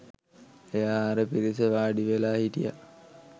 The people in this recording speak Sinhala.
එයා අර පිරිසේ වාඩිවෙලා හිටිය